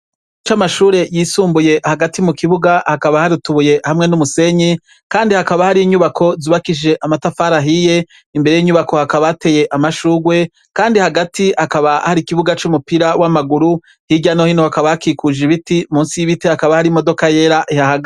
IKigo camashure yisumbuye hagati mukibuga hakaba hari utubuye hamwe n'umusenyi kandi hakaba hari inyubako zubakishije amatafari ahiye imbere yinyubako hakaba hateye amashurwe kandi hagati hakaba hari ikibuga cumupira wamaguru hirya no hino hakaba hakikuje ibiti munsi yibiti hakaba hari imodoka yera ihahagaze.